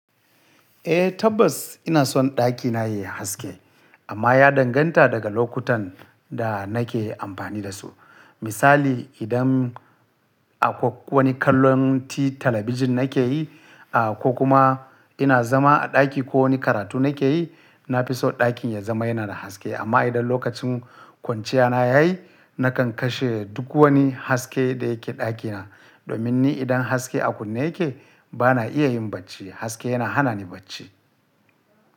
Eh tabbas ina son ɗakina yayi haske amma ya danganta daga lokutan da nake amfani da su. Misali idan akwai wani kallon ti talabijin nake yi ah ko kuma ina zama a ɗaki ko wani karatu nake yi, nafison ɗakin ya zama yana da haske. Amma idan lokacin kwanciyana yayi nakan kashe duk wani haske da yake ɗakina. Domin ni idan haske a kunne yake bana iya yin bacci, haske yana hana ni bacci.